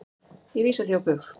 Ég vísa því á bug.